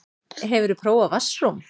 Hefurðu prófað vatnsrúm?